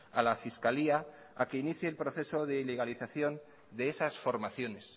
a la fiscalía a que inicie el proceso de ilegalización de esas formaciones